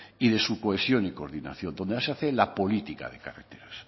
y de su cohesión y coordinación donde se hace la política de carreteras